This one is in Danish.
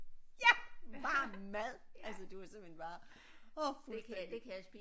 Ja varm mad altså det var simpelthen bare åh fuldstændig